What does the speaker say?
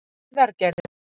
Heiðargerði